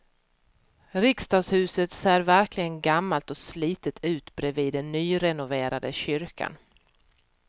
Riksdagshuset ser verkligen gammalt och slitet ut bredvid den nyrenoverade kyrkan.